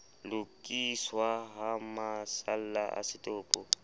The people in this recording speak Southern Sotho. lokiswa ha masalla a setopo